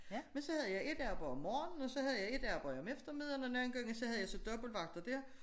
Men så havde jeg et arbejde om morgenen og så havde jeg et arbejde om eftermiddagen og nogle gange så havde jeg så dobbelt vagter dér